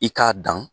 I k'a dan